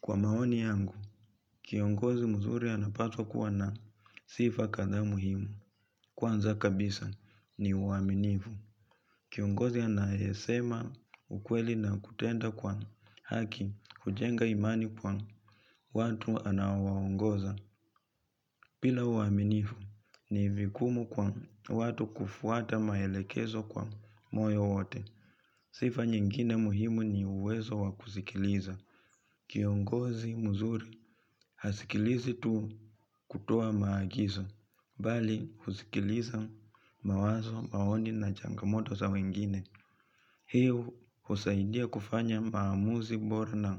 Kwa maoni yangu, kiongozi mzuri anapaswa kuwa na sifa kadhaa muhimu. Kwanza kabisa ni uaminifu. Kiongozi anayesema ukweli na kutenda kwa haki kujenga imani kwa watu anaowaongoza. Bila uaminifu ni vigumu kwa watu kufuata maelekezo kwa moyo wote. Sifa nyingine muhimu ni uwezo wa kusikiliza. Kiongozi mzuri hasikilizi tu kutoa maagizo, bali husikiliza mawazo maoni na changamoto za wengine. Hii husaidia kufanya maamuzi bora na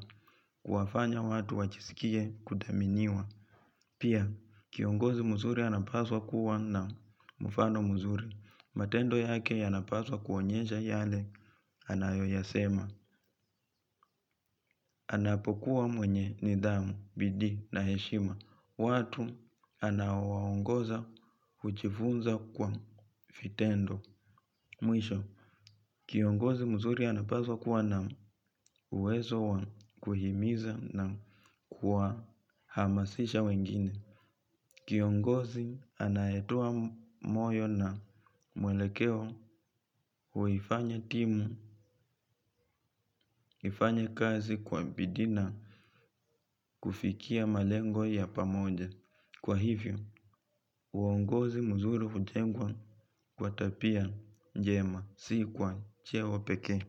kuwafanya watu wajisikie kudhaminiwa. Pia, kiongozi mzuri anapaswa kuwa na mfano mzuri. Matendo yake yanapaswa kuonyesha yale anayoyasema. Anapokuwa mwenye nidhamu, bidii na heshima. Watu anaowaongoza hujifunza kwa vitendo. Mwisho, kiongozi mzuri anapaswa kuwa na uwezo wa kuhimiza na kuhamasisha wengine. Kiongozi anayetoa moyo na mwelekeo huifanya timu, huifanya kazi kwa bidii na kufikia malengo ya pamoja. Kwa hivyo, uongozi mzuri hujengwa kwa tabia njema si kwa cheo pekee.